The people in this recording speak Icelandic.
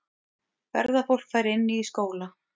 Ferðafólk fær inni í skóla